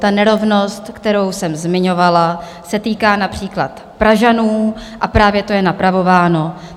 Ta nerovnost, kterou jsem zmiňovala, se týká například Pražanů a právě to je napravováno.